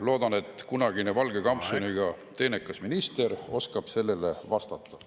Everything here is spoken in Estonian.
Loodan, et kunagi valget kampsunit kandnud teenekas minister oskab sellele vastata.